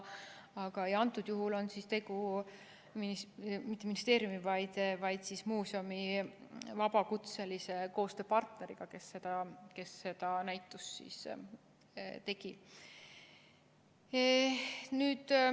Antud juhul on tegu muuseumi vabakutselise koostööpartneriga, kes seda näitust tegi.